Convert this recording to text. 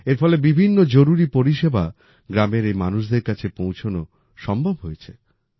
এর ফলে বিভিন্ন জরুরি পরিষেবা গ্রামের এই মানুষদের কাছে পৌঁছানো সম্ভব হয়েছে